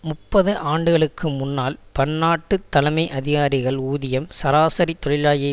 முப்பது ஆண்டுகளுக்கு முன்னால் பன்னாட்டு தலைமை அதிகாரிகள் ஊதியம் சராசரி தொழிலாளியை